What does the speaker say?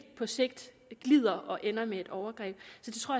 på sigt glider og ender med et overgreb